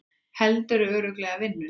Heldurðu örugglega vinnunni?